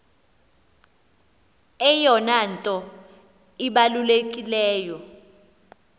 eyona nto ibalulekileyo